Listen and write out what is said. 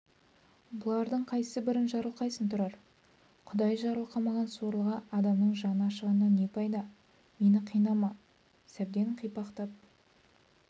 бұлардың қайсыбірін жарылқайсың тұрар құдай жарылқамаған сорлыға адамның жаны ашығаннан не пайда мені қинама сәбден қипақтап